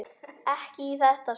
Ekki í þetta sinn.